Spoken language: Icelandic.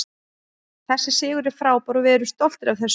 Þessi sigur er frábær og við erum stoltir af þessu.